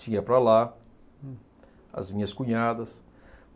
Ia para lá, as minhas cunhadas.